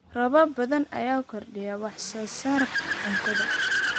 Roobab badan ayaa kordhiya wax soo saarka cuntada.